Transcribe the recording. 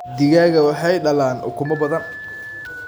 Digaagga waxay dhalaan ukumo badan.